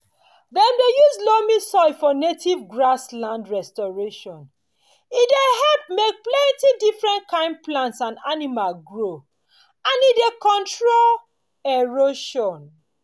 dem dey use loamy soil for native grassland restoration e dey help make plenty different kin plants and animals grow and e dey control erosion